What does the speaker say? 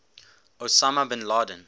osama bin laden